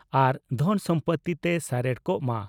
ᱟᱨ ᱫᱷᱚᱱ ᱥᱚᱢᱯᱳᱛᱤ ᱛᱮ ᱥᱟᱨᱮᱲ ᱠᱚᱜ ᱢᱟ ᱾